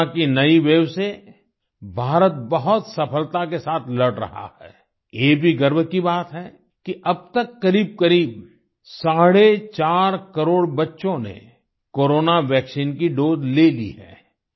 corona की नई wave से भारत बहुत सफलता के साथ लड़ रहा है ये भी गर्व की बात है कि अब तक करीबकरीब साढ़े चार करोड़ बच्चों ने कोरोना वैक्सीन की दोसे ले ली है